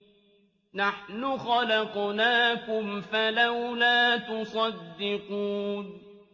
نَحْنُ خَلَقْنَاكُمْ فَلَوْلَا تُصَدِّقُونَ